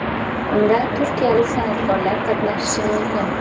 Unda turkiyalik san’atkorlar qatnashishi mumkin.